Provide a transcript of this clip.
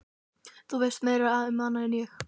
Þú veist meira um hana en ég.